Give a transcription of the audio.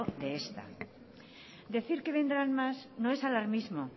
de esta decir que vendrán más no es alarmismo